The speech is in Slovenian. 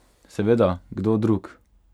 Seveda, kdo drug?